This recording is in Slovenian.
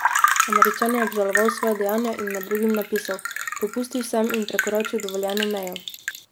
Američan je obžaloval svoja dejanja in med drugim napisal: "Popustil sem in prekoračil dovoljeno mejo.